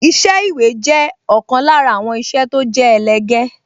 Iṣẹ́ ìwé jẹ́ ọ̀kan lára àwọn iṣẹ́ tó jẹ́ ẹlẹgẹ́